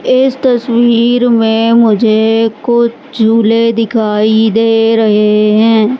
इस तस्वीर में मुझे मालगाड़ी दिखाई दे रही है।